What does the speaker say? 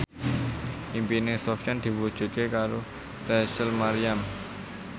impine Sofyan diwujudke karo Rachel Maryam